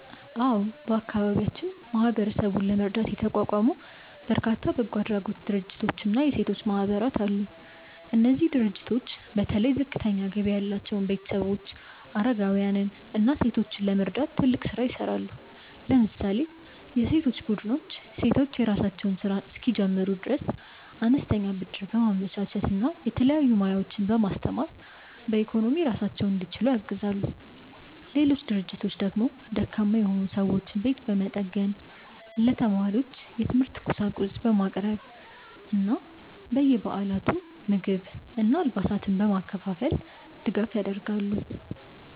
አዎ፣ በአካባቢያችን ማህበረሰቡን ለመርዳት የተቋቋሙ በርካታ በጎ አድራጎት ድርጅቶችና የሴቶች ማህበራት አሉ። እነዚህ ድርጅቶች በተለይ ዝቅተኛ ገቢ ያላቸውን ቤተሰቦች፣ አረጋውያንን እና ሴቶችን ለመርዳት ትልቅ ስራ ይሰራሉ። ለምሳሌ የሴቶች ቡድኖች ሴቶች የራሳቸውን ስራ እንዲጀምሩ አነስተኛ ብድር በማመቻቸት እና የተለያዩ ሙያዎችን በማስተማር በኢኮኖሚ ራሳቸውን እንዲችሉ ያግዛሉ። ሌሎች ድርጅቶች ደግሞ ደካማ የሆኑ ሰዎችን ቤት በመጠገን፣ ለተማሪዎች የትምህርት ቁሳቁስ በማቅረብ እና በየበዓላቱ ምግብና አልባሳትን በማከፋፈል ድጋፍ ያደርጋሉ።